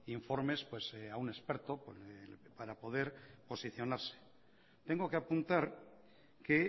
informes a un experto para poder posicionarse tengo que apuntar que